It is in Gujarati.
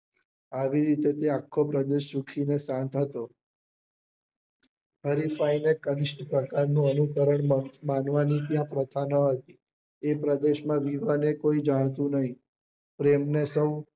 આવી રીતે ત્યાં આખો પ્રદેશ સુખી ને શાંત હતો અહિંસા ને અનુકરણ માનવા ની ત્યાં પ્રથા નાં હતી એ પ્રદેશ માં વિવાને કોઈ જંતુ નહી પ્રેમ ને સૌ